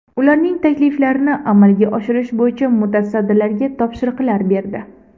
Ularning takliflarini amalga oshirish bo‘yicha mutasaddilarga topshiriqlar berdi.